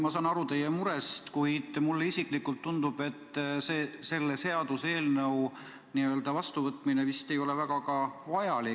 Ma saan aru teie murest, kuid mulle isiklikult tundub, et selle seaduseelnõu vastuvõtmine ei ole vist väga vajalik.